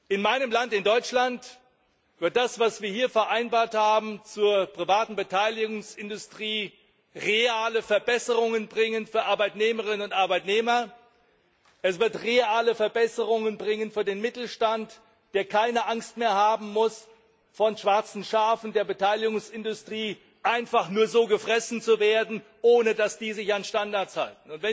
In meinem Land, in Deutschland, wird das, was wir hier zur privaten Beteiligungsindustrie vereinbart haben, reale Verbesserungen bringen für Arbeitnehmerinnen und Arbeitnehmer, es wird reale Verbesserungen bringen für den Mittelstand, der keine Angst mehr haben muss, von schwarzen Schafen der Beteiligungsindustrie einfach gefressen zu werden, ohne dass die sich an Standards halten.